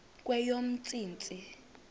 kweyomntsintsi